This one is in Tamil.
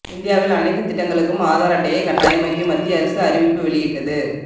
இந்தியாவில் அனைத்து திட்டங்களுக்கும் ஆதார் அட்டையை கட்டாயமாக்கி மத்திய அரசு அறிவிப்பு வெளியிட்டது